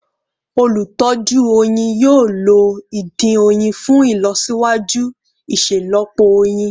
Olutọju oyin yoo lo idin oyin fun ilọsiwaju iṣelọpọ oyin